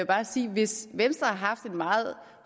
bare sige hvis venstre har haft en meget